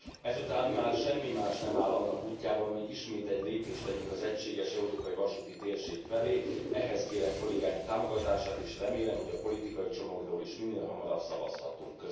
Ezután már semmi más nem áll annak útjában, hogy ismét egy lépést tegyünk az egységes európai vasúti térség felé, ehhez kérem kollégáim támogatását, és remélem, hogy a politikai csomagról is minél hamarabb szavazhatunk.